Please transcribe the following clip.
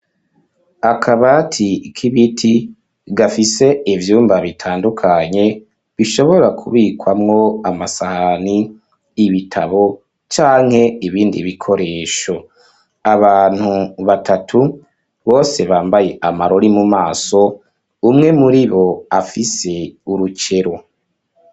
Akabati k'ibiti gafise ivyumba bitandukanye bishobora kubikwamwo amasahani ibitabo canke ibindi bikoresho abantu batatu bose bambaye amarori mu maso umwe muri bo afise urukero.